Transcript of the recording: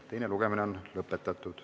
Teine lugemine on lõppenud.